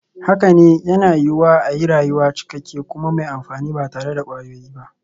Haka ne, yana yiwuwa a yi rayuwa cikakke kuma mai amfani ba tare da kwayoyi ba.